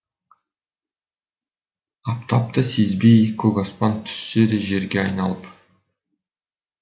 аптапты сезбей көк аспан түссе де жерге айналып